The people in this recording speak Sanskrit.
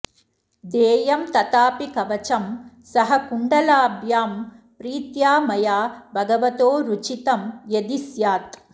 देयं तथापि कवचं सह कुण्डलाभ्यां प्रीत्या मया भगवतो रुचितं यदि स्यात्